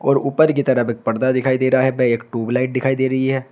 और ऊपर की तरफ एक पर्दा दिखाई दे रहा है एक ट्यूबलाइट दिखाई दे रही है।